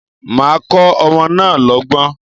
Màá kọ́ ọmọ náà lọ́gbọ́n.